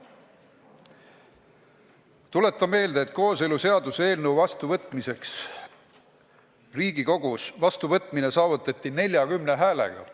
Tuletan meelde, et kooseluseaduse eelnõu vastuvõtmine Riigikogus saavutati 40 häälega.